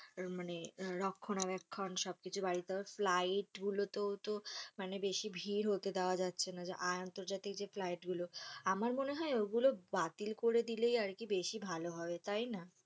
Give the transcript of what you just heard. মানে রক্ষণাবেক্ষণ সব কিছু বাড়িয়ে দাও ফ্লাইট গুলো তোও তো বেশি হতে দেওয়া যাচ্ছে না আর আন্তর্জাতিক ফ্লাইট গুলো আমার মনে হয় ওগুলো বাতিল করে দিলেই আরকি বেশি ভালো হয়, তাই না?